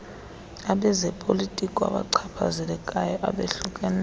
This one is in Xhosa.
abezopolitiko abachaphazelekayo abohlukeneyo